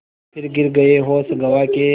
फिर गिर गये होश गँवा के